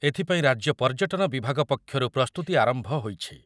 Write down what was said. ଏଥିପାଇଁ ରାଜ୍ୟ ପର୍ଯ୍ୟଟନ ବିଭାଗ ପକ୍ଷରୁ ପ୍ରସ୍ତୁତି ଆରମ୍ଭ ହୋଇଛି।